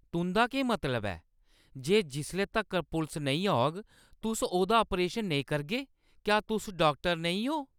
तुंʼदा केह् मतलब ऐ जे जिसले तक्कर पुलस नेईं औग, तुस ओह्दा ऑपरेशन नेईं करगे? क्या तुस डाक्टर नेईं ओ?